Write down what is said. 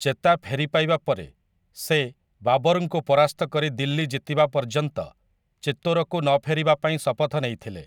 ଚେତା ଫେରିପାଇବା ପରେ ସେ, ବାବରଙ୍କୁ ପରାସ୍ତ କରି ଦିଲ୍ଲୀ ଜିତିବା ପର୍ଯ୍ୟନ୍ତ, ଚିତୋରକୁ ନଫେରିବାପାଇଁ ଶପଥ ନେଇଥିଲେ ।